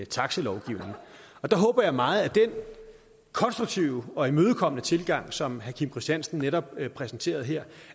taxalovgivning der håber jeg meget at den konstruktive og imødekommende tilgang som herre kim christiansen netop præsenterede her